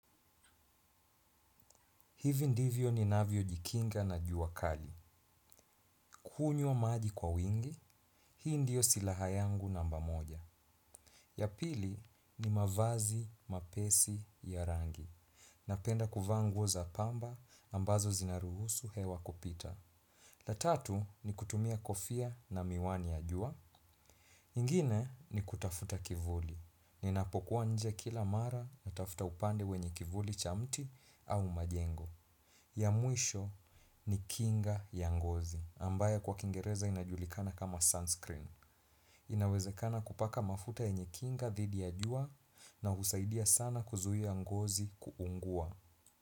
Hivi ndivyo ninavyojikinga na jua kali. Kunywa maji kwa wingi, hii ndiyo silaha yangu namba moja. Ya pili ni mavazi, mapesi, ya rangi. Napenda kuvaa nguo za pamba ambazo zinaruhusu hewa kupita. La tatu ni kutumia kofia na miwani ya jua. Ingine ni kutafuta kivuli. Ninapokuwa nje kila mara natafuta upande wenye kivuli cha mti au majengo. Ya mwisho ni kinga ya ngozi, ambayo kwa kingereza inajulikana kama sunscreen. Inawezekana kupaka mafuta yenye kinga dhidi ya jua na husaidia sana kuzuia ngozi kuungua.